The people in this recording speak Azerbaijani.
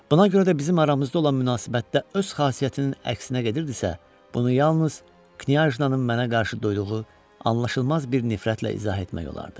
Buna görə də bizim aramızda olan münasibətdə öz xasiyyətinin əksinə gedirdisə, bunu yalnız Knyajnanın mənə qarşı duyduğu anlaşılmaz bir nifrətlə izah etmək olardı.